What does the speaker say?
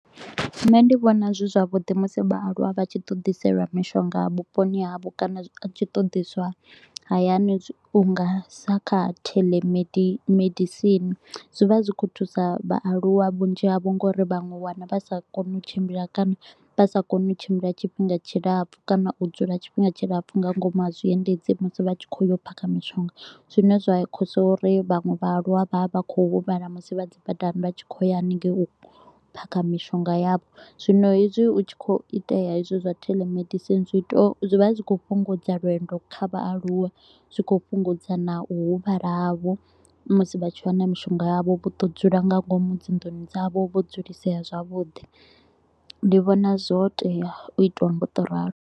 Nṋe ndi vhona zwi zwavhuḓi musi vhaaluwa vha tshi ḓo ḓiselwa mishonga vhuponi havho kana tshi ḓo ḓiswa hayani u nga sa kha telemedicine mimedisini. Zwi vha zwi kho u thusa vhaaluwa vhunzhi havho ngauri vhanwe u wana vha sa koni u tshimbila kana vha sa koni u tshimbila tshifhinga tshilapfu kana u dzula tshifhinga tshilapfu nga ngomu ha zwiendedzi musi vha tshi kho u yo phakha mishonga. Zwine zwa causer u ri vhanwe vha aluwa vha vha vha kho u huvhala musi vha dzi badani vha tshi kho u ya haningei u yo phakha mishonga yavho. Zwino hedzi u tshi kho u itea hezwi zwa dzi telemedicine zwi vha zwi kho u fhungudza lwendo kha vhaaluwa zwi kho u fhungudza na u huvhala havho musi vha tshi vha na mishonga yavho vho to u dzula nga ngomu dzinḓuni dzavho vho dzulisea zwavhuḓi ndi vhona zwotea u itiwa nga u to u ralo.